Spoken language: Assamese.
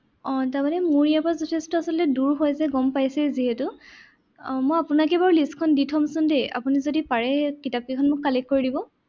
আহ তাৰমানে মোৰ ইয়াৰ পৰা যথেষ্ট আচলতে দূৰ হৈ যে গম পাইছেই যিহেতু। আহ মই আপোনাকে বাৰু list খন দি থম চোন দেই। আপুনি যদি পাৰে কিতাপকেইখন মোক collect কৰি দিব।